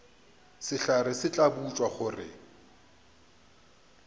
sehlare se tla botšwa gore